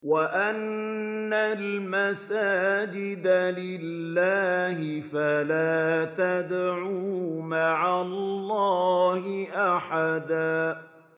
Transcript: وَأَنَّ الْمَسَاجِدَ لِلَّهِ فَلَا تَدْعُوا مَعَ اللَّهِ أَحَدًا